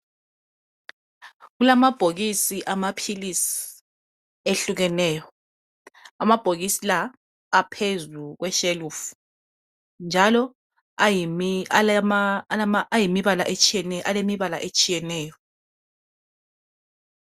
Kulamabhokisi amaphilisi ehlukeneyo , amabhokisi la aphezukweshelufu .Njalo ,alemibala etshiyeneyo.